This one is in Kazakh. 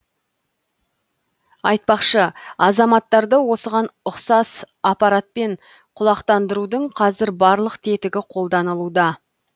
айтпақшы азаматтарды осыған ұқсас аппаратпен құлақтандырудың қазір барлық тетігі қолданылуда